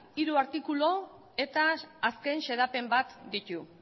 hiru artikulu eta azken xedapen bat ditu